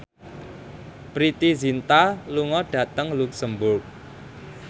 Preity Zinta lunga dhateng luxemburg